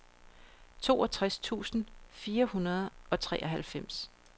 toogtres tusind fire hundrede og treoghalvfems